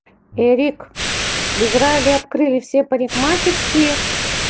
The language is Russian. эрик в израиле открыли все парикмахерские